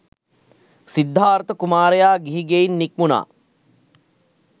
සිද්ධාර්ථ කුමාරයා ගිහි ගෙයින් නික්මුණා.